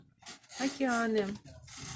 океаны